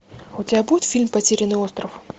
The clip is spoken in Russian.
у тебя будет фильм потерянный остров